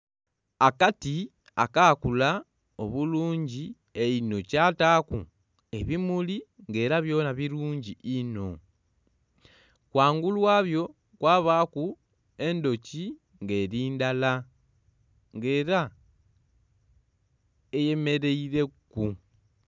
Akati akaakula obulungi einho, kyataaku ebimuli ng'era byona bulungi inho. Ghangulu ghabyo kwabaaku endhuki ng'eri ndala. Ng'era eyemeleileku.